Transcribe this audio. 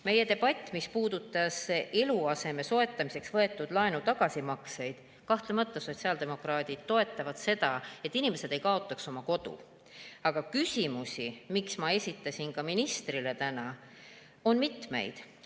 Meie debatt, mis puudutas eluaseme soetamiseks võetud laenu tagasimakseid – kahtlemata sotsiaaldemokraadid toetavad seda, et inimesed ei kaotaks oma kodu, aga küsimusi, mida ma esitasin ka ministrile täna, on mitmeid.